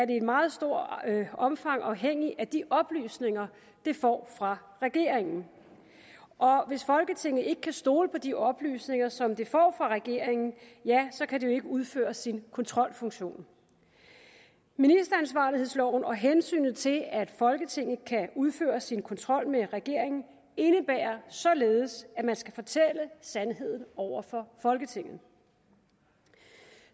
i et meget stort omfang afhængig af de oplysninger det får fra regeringen og hvis folketinget ikke kan stole på de oplysninger som det får fra regeringen ja så kan det jo ikke udføre sin kontrolfunktion ministeransvarlighedsloven og hensynet til at folketinget kan udføre sin kontrol med regeringen indebærer således at man skal fortælle sandheden over for folketinget